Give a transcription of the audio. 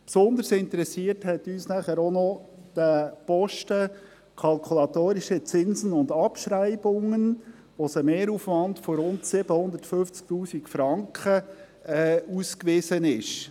Besonders interessiert hat uns dann auch noch der Posten «Kalkulatorische Zinsen und Abschreibungen», wo ein Mehraufwand von rund 750 000 Franken ausgewiesen ist.